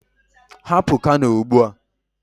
Hapụ Kano ugbu a.